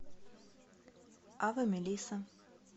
аве мелисса